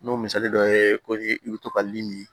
N'o misali dɔ ye ko i bɛ to ka limin